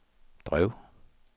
drev